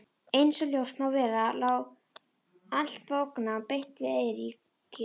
Einsog ljóst má vera lá allt bóknám beint við Eiríki.